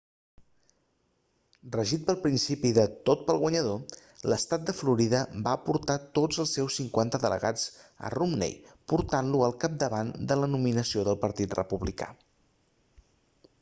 regit pel principi de tot per al guanyador l'estat de florida va aportar tots els seus cinquanta delegats a romney portant-lo al capdavant de la nominació del partit republicà